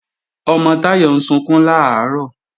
Ọmọ Táyọ̀ ń sunkún làárọ̀